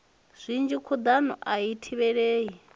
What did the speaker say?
zwinzhi khuḓano a i thivhelei